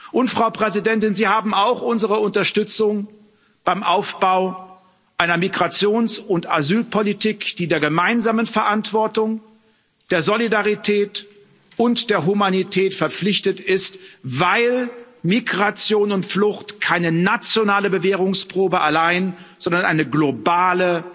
Und, Frau Präsidentin, Sie haben auch unsere Unterstützung beim Aufbau einer Migrations und Asylpolitik, die der gemeinsamen Verantwortung, der Solidarität und der Humanität verpflichtet ist, weil Migration und Flucht keine nationale Bewährungsprobe allein, sondern eine globale